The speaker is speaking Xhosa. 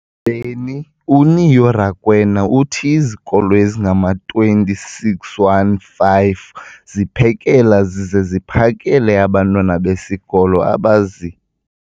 beni, uNeo Rakwena, uthi izikolo ezingama-20 615 ziphekela zize ziphakele abantwana besikolo abazi-